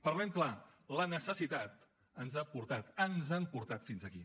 parlem clar la necessitat ens ha portat ens han portat fins aquí